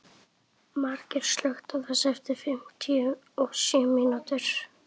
Margeir, slökktu á þessu eftir fimmtíu og sjö mínútur.